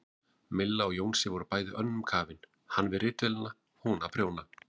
Milla og Jónsi voru bæði önnum kafin, hann við ritvélina, hún að prjóna.